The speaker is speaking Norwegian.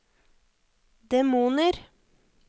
demoner